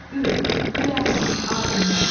Ü, Üləma, alimlər.